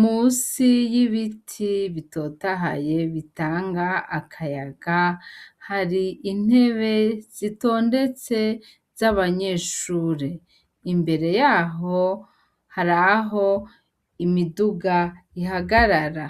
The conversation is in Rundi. musi y'ibiti bitotahaye bitanga akayaga hari intebe zitondetse z'abanyeshure imbere yaho hari aho imiduga ihagarara.